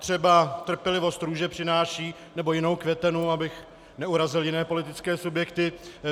Třeba trpělivost růže přináší, nebo jinou květenu, abych neurazil jiné politické subjekty.